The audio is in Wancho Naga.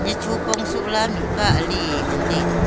nyachopong sohla mihpa ali ngan taiga.